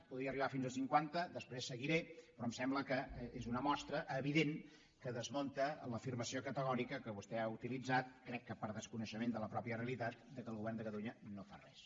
podria arribar fins a cinquanta després seguiré però em sembla que és una mostra evident que desmunta l’afirmació categòrica que vostè ha utilitzat crec que per desconeixement de la pròpia realitat que el govern de catalunya no fa res